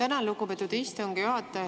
Tänan, lugupeetud istungi juhataja!